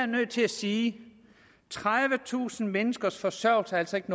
nødt til at sige at tredivetusind menneskers forsørgelse altså ikke